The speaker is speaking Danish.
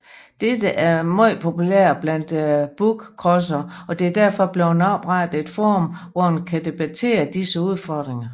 Dette er meget populært blandt bookcrossere og der er derfor blevet oprettet et forum hvor man kan debattere disse udfordringer